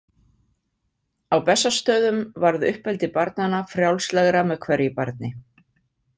Á Bessastöðum varð uppeldi barnanna frjálslegra með hverju barni.